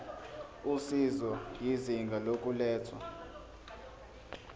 usizo izinga lokulethwa